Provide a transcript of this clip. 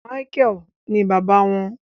Micheal ní bàbá wọn